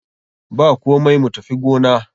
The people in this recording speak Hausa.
Bakomai, mu tafi gona.